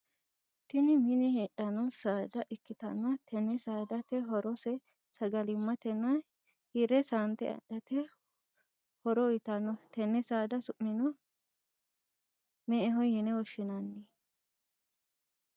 Tinni minne heedhano saada ikitanna tenne saadate horose sagalimatenna hire saante adhate horo uyitano. Tenne saada su'mino me"eho yinne woshinnanni.